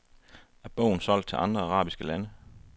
Er bogen solgt til andre arabiske lande?